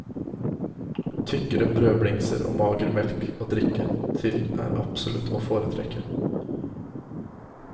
Tykkere brødblingser og mager melk å drikke til er absolutt å foretrekke.